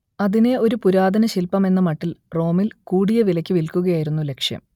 അതിനെ ഒരു പുരാതനശില്പമെന്ന മട്ടിൽ റോമിൽ കൂടിയ വിലക്ക് വിൽക്കുകയായിരുന്നു ലക്ഷ്യം